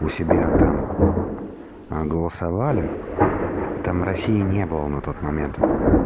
у себя там а голосовали а там россии не было на тот момент